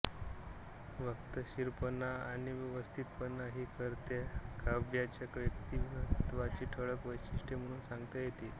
वक्तशीरपणा आणि व्यवस्थितपणा ही कर्व्यांच्या व्यक्तित्वाची ठळक वैशिष्ट्ये म्हणून सांगता येतील